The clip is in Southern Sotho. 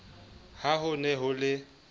ha ho ne ho le